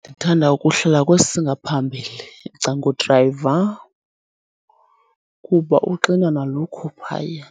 Ndithanda ukuhlala kwesi singaphambili ecamkodrayiva. Kuba uxinano alukho phaya,